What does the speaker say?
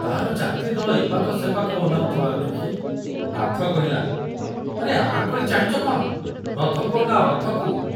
ତାର ଯାତ୍ରୀ ଦଳ ଏ ପାଖ ସେ ପାଖ ଅନାଉଥିବାର ଦେଖୁ ନାଥ କହିଲା, ଆରେ ଆଁ କରି ଚାହିଁଚ କ'ଣ, ରଥକୁ ଅନାଅ, ରଥକୁ।